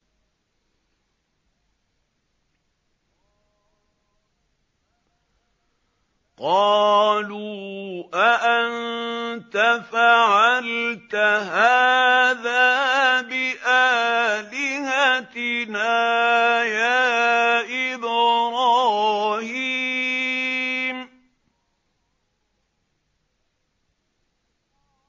قَالُوا أَأَنتَ فَعَلْتَ هَٰذَا بِآلِهَتِنَا يَا إِبْرَاهِيمُ